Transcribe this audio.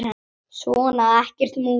Svona, ekkert múður.